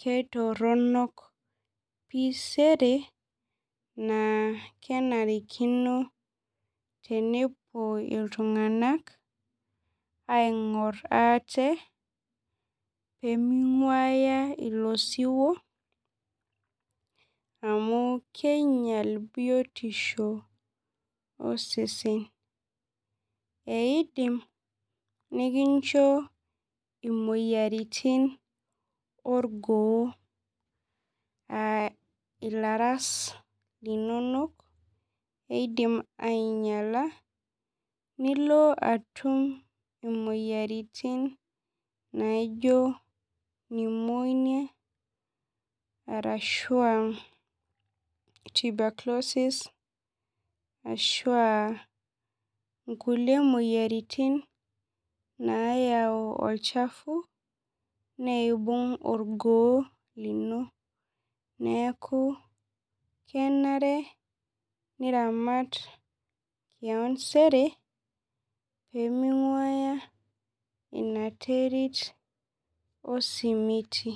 keitorronok pii sere naa kenarikino tenepuo iltung'anak aing'orr ate peming'uaya ilo siwuo amu keinyial biotisho osesen eidim nikincho imoyiaritin orgoo uh ilaras linonok eidim ainyiala nilo atum imoyiaritin naijio pneumonia arashua tuberculosis ashua inkulie moyiaritin nayau olchafu neibung orgoo lino neeku kenare niramat kewon sere peming'uaya ina terit osimiti.